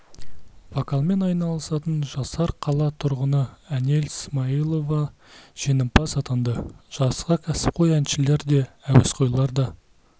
вокалмен айналысатын жасар қала тұрғыны әнел смайылова жеңімпаз атанды жарысқа кәсіпқой әншілер де әуесқойлар да